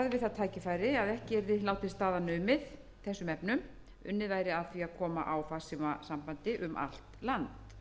að því að koma á farsímasambandi um allt land hann sagði orðrétt með leyfi forseta síðan